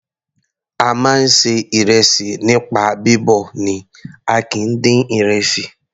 A máa ń ṣe ìrẹsì nípa bíbọ̀ ni a kìí dín ìrẹsì.